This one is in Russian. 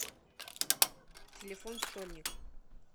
телефон стольник